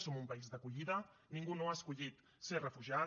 som un país d’acollida ningú no ha escollit ser refugiat